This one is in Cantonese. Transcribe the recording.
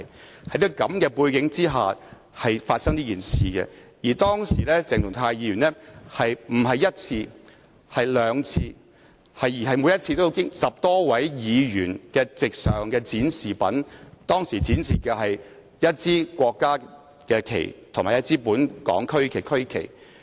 這件事是在這種背景下發生，而當時鄭松泰議員並非一次而是兩次經過10多位議員席上的展示品，即一支國旗和本港區旗。